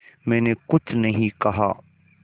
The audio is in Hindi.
मैंने कुछ नहीं कहा